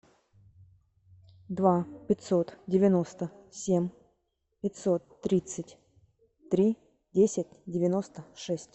два пятьсот девяносто семь пятьсот тридцать три десять девяносто шесть